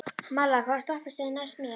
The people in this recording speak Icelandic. Malla, hvaða stoppistöð er næst mér?